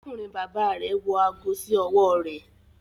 Arákùnrin bàbà rẹ wọ aago sí ọwọ rẹ